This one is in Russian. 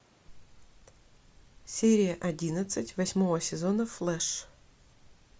серия одиннадцать восьмого сезона флеш